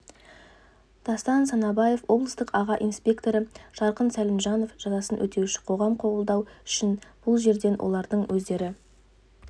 дастан санабаев облыстық аға инспекторы жарқын сәлімжанов жазасын өтеуші қоғам қабылдау үшін бұл жерден олардың өздері